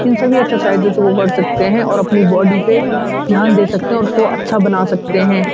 इन सभी एक्सरसाइज को कर सकते हैं और अपनी बॉडी पे ध्यान दे सकते हैं और उसको अच्छा बना सकते हैं।